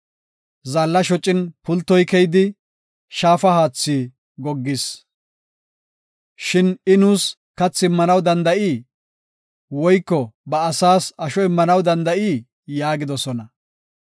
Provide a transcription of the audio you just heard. Zaalla shocin pultoy keyidi shaafa haathi goggis; shin I nuus kathi immanaw danda7ii? Woyko ba asaas asho immanaw danda7ii?” yaagidosona.